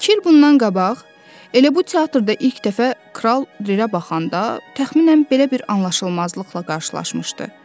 İki il bundan qabaq elə bu teatrda ilk dəfə Kral Lirə baxanda təxminən belə bir anlaşılmazlıqla qarşılaşmışdı.